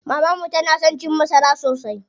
Maman mu tana son cin masara sosai.